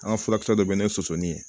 An ka furakisɛ dɔ bɛ n'i ye sɔsɔli ye